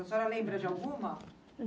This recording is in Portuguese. A senhora lembra de alguma?